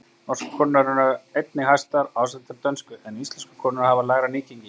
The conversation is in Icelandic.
Norsku konurnar eru einnig hæstar ásamt þeim dönsku, en íslensku konurnar hafa lægra nýgengi.